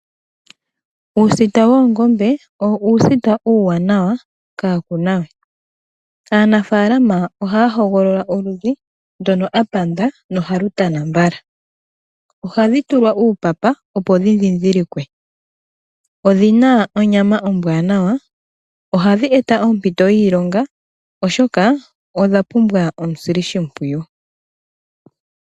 Uusita woongombe owo uusita uuwanawa kaa ku na we. Aanafalama ohaya hogolola oludhi ndono a panda nohalu tana mbala. Ohadhi tulwa uupapa, opo dhi ndhindhilikwe. Odhi na onyama ombwaanawa. Ohadhi eta ompito yiilonga, oshoka odha pumbwa omusilishimpwiyu.